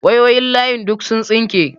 Wayoyin layin duk sun tsinke.